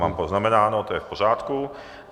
Mám poznamenáno, to je v pořádku.